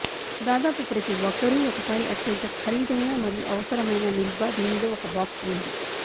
దాదాపు ప్రతి ఒక్కరూ ఒకసారి అత్యంత ఖరీదైన మరియు అవసరమైన నిల్వ దీనిలో ఒక బాక్స్ ఉంది